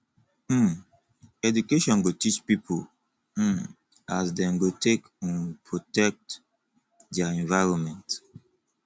um education go teach pipo um as dem go take um protect their environment